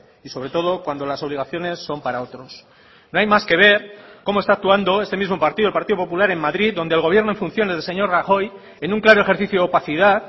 y sobre todo cuando las obligaciones son para otros no hay más que ver cómo está actuando este mismo partido el partido popular en madrid donde el gobierno en funciones del señor rajoy en un claro ejercicio de opacidad